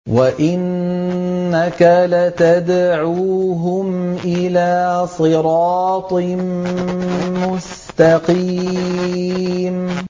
وَإِنَّكَ لَتَدْعُوهُمْ إِلَىٰ صِرَاطٍ مُّسْتَقِيمٍ